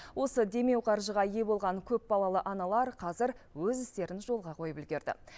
осы демеу қаржыға ие болған көпбалалалы аналар қазір өз істерін жолға қойып үлгерді